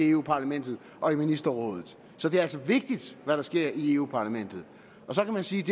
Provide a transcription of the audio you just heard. europa parlamentet og ministerrådet så det er altså vigtigt hvad der sker i europa parlamentet så kan man sige at